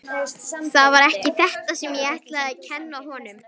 Það var ekki þetta sem ég ætlaði að kenna honum.